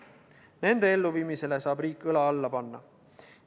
Nende elluviimisele saab riik õla alla panna.